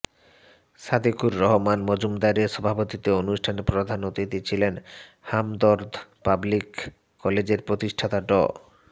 সাদেকুর রহমান মজুমদারের সভাপতিত্বে অনুষ্ঠানে প্রধান অতিথি ছিলেন হামদর্দ পাবলিক কলেজের প্রতিষ্ঠাতা ড